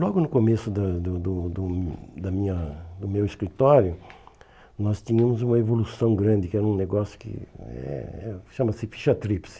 Logo no começo da do do do da minha do meu escritório, nós tínhamos uma evolução grande, que era um negócio que eh chama-se ficha tripse.